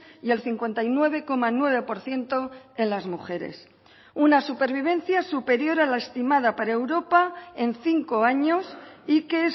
y el cincuenta y nueve coma nueve por ciento en las mujeres una supervivencia superior a la estimada para europa en cinco años y que